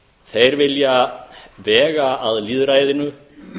þeir vilja vega að lýðræðinu